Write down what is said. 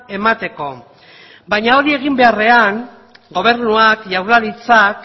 emateko baina hori egin beharrean gobernuak jaurlaritzak